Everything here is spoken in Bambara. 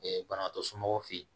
banabaatɔ somɔgɔw fɛ yen